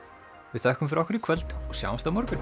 við þökkum fyrir okkur í kvöld og sjáumst á morgun